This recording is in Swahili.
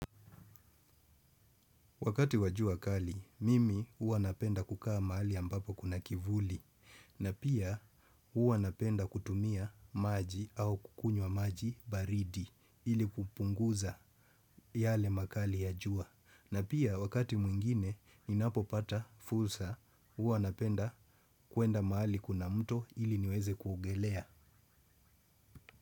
Wakati wa jua kali, mimi huwa napenda kukaa mahali ambapo kuna kivuli. Na pia huwa napenda kutumia maji au kukunywa maji baridi ili kupunguza yale makali ya jua. Na pia wakati mwingine ninapopata fursa huwa napenda kwenda mahali kuna mto ili niweze kuogelea.